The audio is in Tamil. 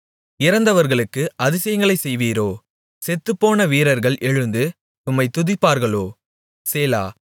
இறந்தவர்களுக்கு அதிசயங்களைச் செய்வீரோ செத்துப்போன வீரர்கள் எழுந்து உம்மைத் துதிப்பார்களோ சேலா